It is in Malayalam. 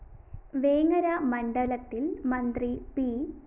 വേങ്ങര മണ്ഡലത്തില്‍ മന്ത്രി പി